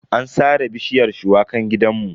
An sare bishiyar shuwakan gidanmu.